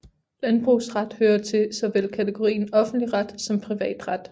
Landbrugsret hører til såvel kategorien offentlig ret som privatret